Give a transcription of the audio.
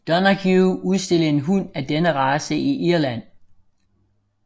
Donoghue udstillede en hund af denne race i Irland